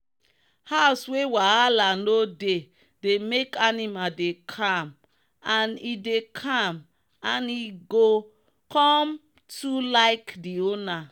house wey wahala no dey dey make animal dey calmand e dey calmand e go come too like the owner.